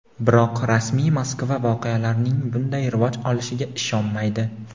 biroq rasmiy Moskva voqealarning bunday rivoj olishiga ishonmaydi.